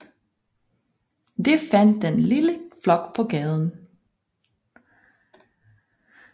De fandt den lille flok på gaden